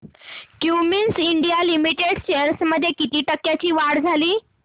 Cummins India limited shares मध्ये किती टक्क्यांची वाढ झाली